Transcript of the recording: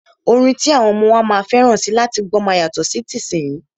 Orin ti àwọn ọmọ wa máa fẹ́ràn láti gbọ́ máa yàtọ̀ sí tìsínyii.